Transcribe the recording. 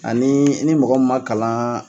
Ani ni mɔgɔ ma kalan